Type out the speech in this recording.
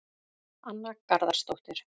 Anna Garðarsdóttir